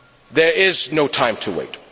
There is no time to wait.